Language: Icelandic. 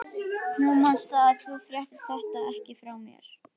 Þú manst það, að þú fréttir þetta ekki frá mér.